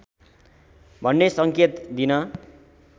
भन्ने सङ्केत दिन